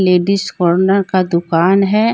Ladies corner का दुकान है।